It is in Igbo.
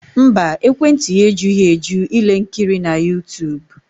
Mba, ekwentị ya ejughị eju ile nkiri na YouTube